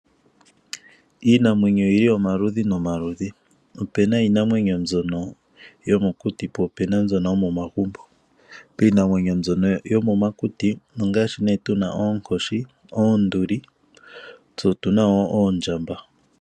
Iinamwenyo oyili omaludhi nomaludhi opena iinamwenyo mbyono yomokuti po opena mbyono yomomagumbo. Iinamwenyo mbyono yomomakutu ongaashi nee tuna oonkoshi, oonduli nosho woo oondjamba.